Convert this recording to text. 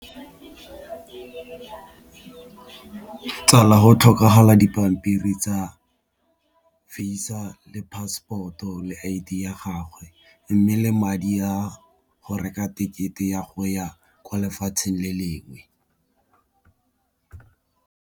Tsala go tlhokagala dipampiri tsa Visa le passport-o le I_D ya gagwe, mme le madi a go reka ticket-e ya go ya kwa lefatsheng le lengwe.